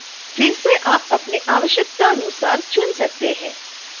फिर से आप अपने आवश्यकतानुसार चुन सकते हैं